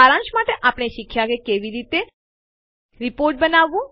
સારાંશમાં આપણે શીખ્યાં કે કેવી રીતે રીપોર્ટ બનાવવું